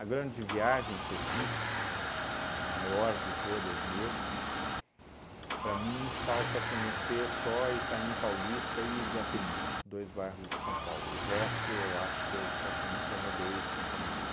grande viagem que eu fiz, a maior de todas mesmo, para mim falta conhecer só Itaim Paulista e Iguatemi, dois bairros de São Paulo, o resto eu acho que eu praticamente já rodei São Paulo inteiro.